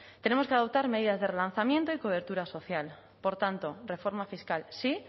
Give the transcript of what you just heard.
tenemos que adoptar medidas de relanzamiento y cobertura social por tanto reforma fiscal sí